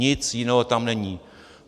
Nic jiného tam není.